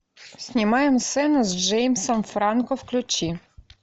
снимаем сцену с джеймсом франко включи